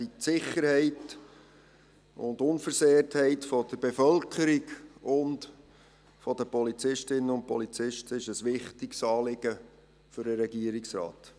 Die Sicherheit und Unversehrtheit der Bevölkerung sowie der Polizistinnen und Polizisten ist ein wichtiges Anliegen für den Regierungsrat.